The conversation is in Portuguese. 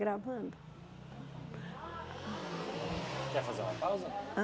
Gravando Quer fazer uma pausa? Hã